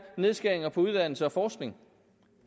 nedskæringer på uddannelse og forskning